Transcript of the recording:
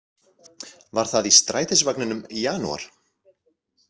Var það í strætisvagninum í janúar?